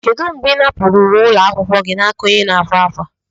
Kedu mgbe ị napụrụ uwe ụlọ akwụkwọ gị n'aka onye na-akwa akwa?